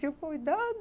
Tinha um cuidado.